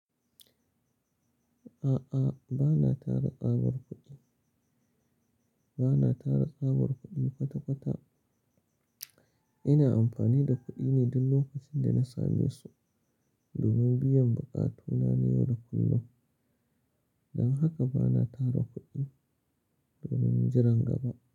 A'a, ba na tara tsabar kuɗi, ba na tara tsabar kuɗi kwata-kwata. Ina amfani da kuɗi ne duk lokacin da na same su domin biyan buƙatuna ne yau da kullum. Don haka ba na tara kuɗi domin jiran gaba.